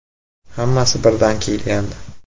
Hammasi birdan kelgandi.